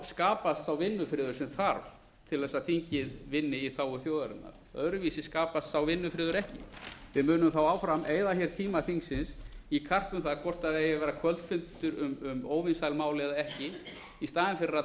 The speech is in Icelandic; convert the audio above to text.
skapast sá vinnufriður sem þarf til að þingið vinni í þágu þjóðarinnar öðruvísi skapast sá vinnufriður ekki við munum þá áfram eyða tíma þingsins í karp um það hvort eigi að vera kvöldfundur um óvinsæl mál eða ekki í staðinn fyrir að